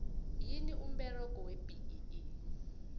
yini umberego webee